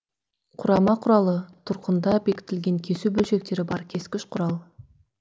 құрама құралы тұрқында бекітілген кесу бөлшектері бар кескіш құрал